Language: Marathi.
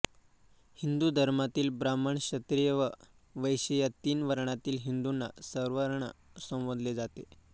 हिंदू धर्मातील ब्राह्मण क्षत्रिय व वैश्य या तीन वर्णातील हिंदूंना सवर्ण संबोधले जाते